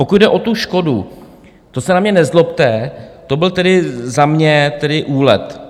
Pokud jde o tu škodu, to se na mě nezlobte, to byl tedy za mě úlet.